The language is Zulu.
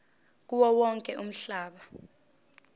kuwo wonke umhlaba